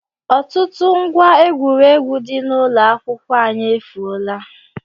Ọtụtụ ngwá egwuregwu dị n'ụlọ akwụkwọ anyị efuola